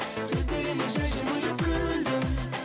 сөздеріме жай жымиып күлдің